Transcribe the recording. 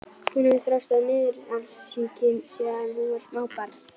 Hún hefur þjáðst af niðurfallssýki síðan hún var smábarn.